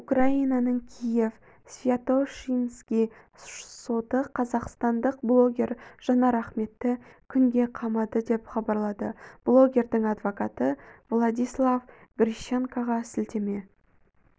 украинаның киев-святошинский соты қазақстандық блогер жанар ахметті күнге қамады деп хабарлады блогердің адвокаты владислав грищенкоға сілтеме